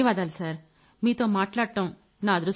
ధన్యవాదాలు సర్ మీతో మాట్లాడ్డం నిజంగా నా